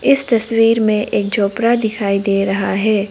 इस तस्वीर में एक झोपड़ा दिखाई दे रहा है।